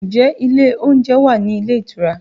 Ǹjẹ́ ilé oúnjẹ wà ní ilé ìtura?